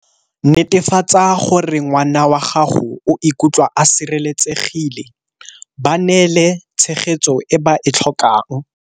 Netefatsa gore ngwana wa gago o ikutlwa a sireletsegile, ba neele tshegetso e ba e tlhokang.